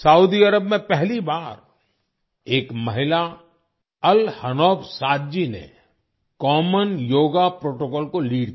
Saudi Arab में पहली बार एक महिला अल हनौफ साद जी ने कॉमन योगा प्रोटोकॉल को लीड किया